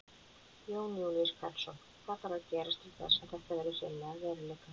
Jón Júlíus Karlsson: Hvað þarf að gerast til þess að þetta verði hreinlega að veruleika?